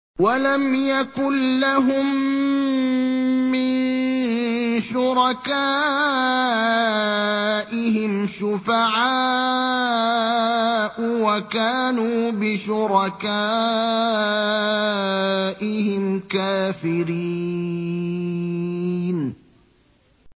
وَلَمْ يَكُن لَّهُم مِّن شُرَكَائِهِمْ شُفَعَاءُ وَكَانُوا بِشُرَكَائِهِمْ كَافِرِينَ